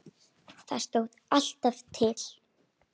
Það stóð alltaf til.